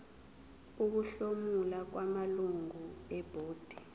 ukuhlomula kwamalungu ebhodi